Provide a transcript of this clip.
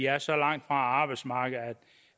er så langt fra arbejdsmarkedet